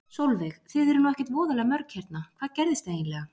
Sólveig: Þið eruð nú ekkert voðalega mörg hérna, hvað gerðist eiginlega?